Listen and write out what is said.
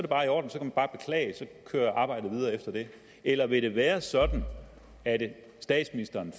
kører arbejdet videre efter det eller vil det være sådan at statsministeren